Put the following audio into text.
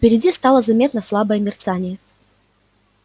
впереди стало заметно слабое мерцание